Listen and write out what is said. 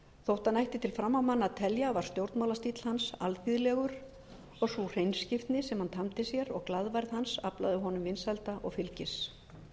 þótt hann ætti til framámanna að telja var stjórnmálastíll hans alþýðlegur og sú hreinskiptni sem hann tamdi sér og glaðværð hans aflaði honum vinsælda og fylgis